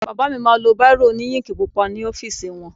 Bàbá mi ma lo báìrò òní íǹkì pupa ní ọ́fìsì wọn.